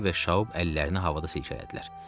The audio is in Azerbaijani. Lare və Şaub əllərini havada silkələdilər.